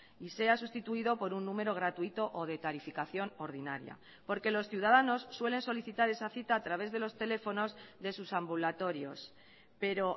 y sea sustituido por un número gratuito o de tarificación ordinaria porque los ciudadanos suelen solicitar esa cita a través de los teléfonos de sus ambulatorios pero